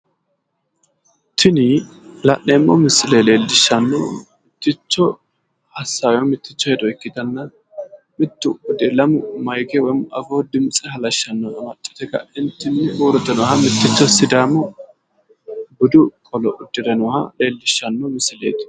Tini la'neemmo misile leellishshannohu mitticho assaawe woy mitticho hedo ikkitanna mittu lamu mayiike woy afuu dimtse halashshannoha amaxxite ka'entinni uurrite nooha mitticho sidaamu budu qolo uddire nooha leeliishshanno misileeti